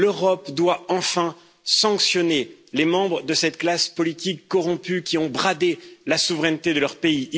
L'Europe doit enfin sanctionner les membres de cette classe politique corrompue qui ont bradé la souveraineté de leur pays.